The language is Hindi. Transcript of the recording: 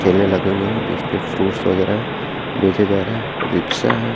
ठेले लगे हुए हैं जिसपे फ्रूट्स वगैरा बेचे जा रहे हैं रिक्शा है।